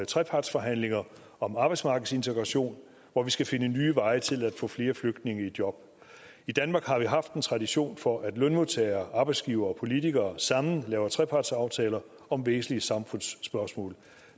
trepartsforhandlinger om arbejdsmarkedsintegration hvor vi skal finde nye veje til at få flere flygtninge i job i danmark har vi haft en tradition for at lønmodtagere arbejdsgivere og politikere sammen laver trepartsaftaler om væsentlige samfundsspørgsmål